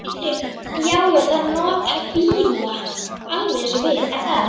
Já, já, það notar bíla, alveg eins og við.